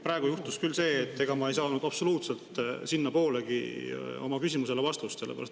Praegu juhtus küll see, et ma ei saanud absoluutselt sinnapoolegi oma küsimusele vastust.